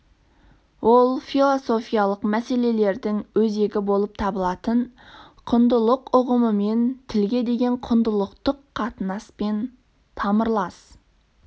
ол философиялық мәселелердің өзегі болып табылатын құндылық ұғымымен тілге деген құндылықтық қатынаспен тамырлас